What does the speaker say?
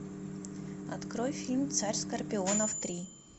открой фильм царь скорпионов три